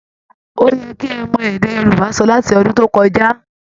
Ó yẹ kí ẹ ti mọ èdè Yorùbá sọ láti ọdún tó kọjá!